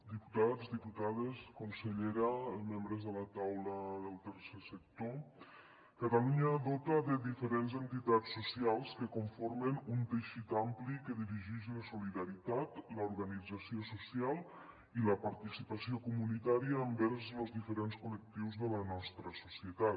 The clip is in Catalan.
diputats diputades consellera membres de la taula del tercer sector catalunya dota diferents entitats socials que conformen un teixit ampli que dirigix la solidaritat l’organització social i la participació comunitària envers los diferents col·lectius de la nostra societat